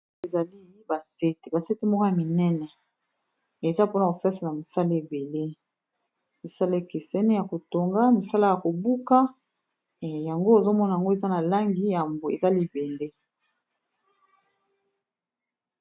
Ezali ba sete, ba sete moko ya minene eza mpona kosalisa misala ebele misala ekeseni ya ko tonga misala ya ko buka yango ozo mona yango eza na langi ya mbwe eza libende.